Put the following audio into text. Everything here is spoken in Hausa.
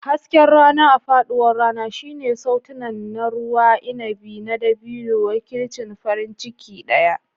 Hasken rana a faɗuwar rana shine sautunan na ruwan inabi na dabino, wakilcin farin ciki ɗaya.